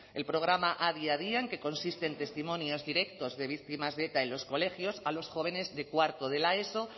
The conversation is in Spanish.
el programa adi adian que consiste en testimonios directos de víctimas de eta en los colegios a los jóvenes de cuarto de la eso